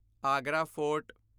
Agra fort